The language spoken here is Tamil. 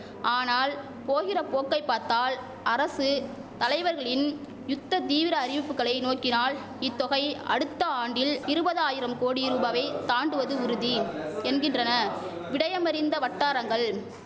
ஆனால் போகிற போக்கை பாத்தால் அரசு தலைவர்களின் யுத்த தீவிர அறிவிப்புகளை நோக்கினால் இத்தொகை அடுத்த ஆண்டில் இருபதாயிரம் கோடி ரூபாவை தாண்டுவது உறுதி என்கின்றன விடயமறிந்த வட்டாரங்கள்